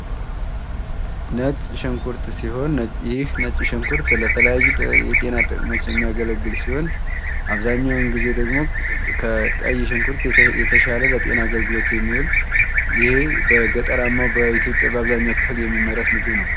ነጭ ሽንኩርት ሲሆን ይህ ነጭ ሽንኩርት የተለያዩ የጤና ጥቅሞች የሚያገለግል ሲሆን አብዛኛውን ጊዜ ደግሞ ከቀይ ሽንኩርት የተሻለለጤና አገልግሎት የሚውልይህም በገጠራማው በኢትዮጽያ በአብዛኛው ክፍል የሚመረት ምግብ ነው።